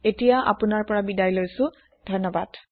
লগত থকাৰ কাৰণে ধন্যৱাদ